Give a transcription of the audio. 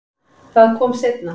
Það kom seinna